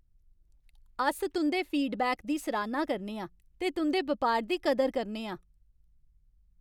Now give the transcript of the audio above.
अस तुं'दे फीडबैक दी सराह्ना करने आं ते तुं'दे बपार दी कदर करने आं।